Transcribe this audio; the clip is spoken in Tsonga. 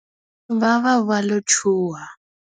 Va va va lo chuha.